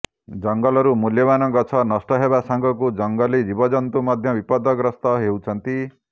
ଜଙ୍ଗଲରୁ ମୂଲ୍ୟବାନ ଗଛ ନଷ୍ଟ ହେବା ସାଙ୍ଗକୁ ଜଙ୍ଗଲୀ ଜୀବଜନ୍ତୁ ମଧ୍ୟ ବିପଦଗ୍ରସ୍ତ ହେଉଛନ୍ତି